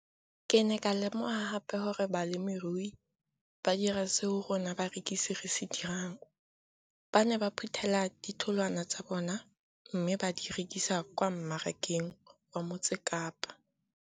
Ke ne ka lemoga gape gore balemirui ba dira seo rona barekisi re se dirang - ba ne ba phuthela ditholwana tsa bona mme ba di rekisa kwa marakeng wa Motsekapa.